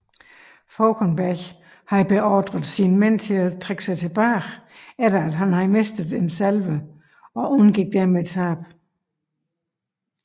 Fauconberg havde beordret sine mænd til at trække sig tilbage efter at have mistet en salve og undgik dermed tab